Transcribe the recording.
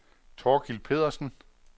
Thorkild Pedersen